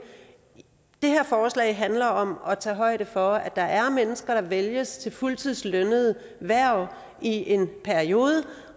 det her forslag handler om at tage højde for at der er mennesker der vælges til fuldtidslønnede hverv i en periode